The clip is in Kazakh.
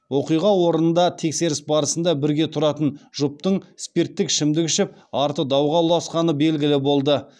оқиға орнында тексеріс барысында бірге тұратын жұптың спирттік ішімдік ішіп арты дауға ұласқаны белгілі болды